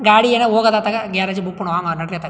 ಗಾಡಿ ಏನೋ ಹೋಗದತ್ತಗ್ ಗ್ಯಾರೇಜ್ ಬಿಟ್ಟಬಿಡೋನ್ ನಡ್ರಿ ಅತ್ತಗ್.